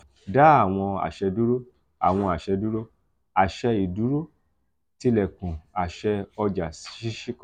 da àwọn aṣẹ duro: àwọn aṣẹ duro: aṣẹ iduro tilekun aṣẹ ọja ṣiṣi kan.